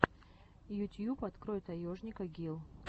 ютьюб открой таежника гил